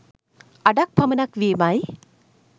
අඩක් පමණක් වීමයි.